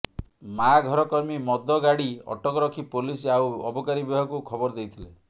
ମା ଘର କର୍ମୀ ମଦ ଗାଡ଼ି ଅଟକ ରଖି ପୋଲିସ ଆଉ ଅବକାରୀ ବିଭାଗକୁ ଖବର ଦେଇଥିଲେ